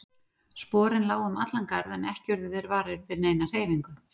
Sporin lágu um allan garð en ekki urðu þeir varir við neina hreyfingu.